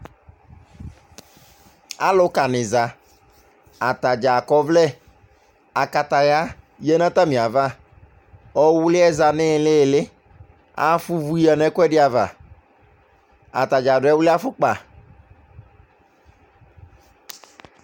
Alʋkanɩ za, atadza akɔ ɔvlɛ, akataya yǝ nʋ atamɩ ava, ɔwlɩ yɛ za nʋ ɩɩlɩ-ɩlɩ Afʋa ʋvʋ yǝ nʋ ɛkʋɛdɩ ava, atadza adʋ ɛwlɩ afɔkpa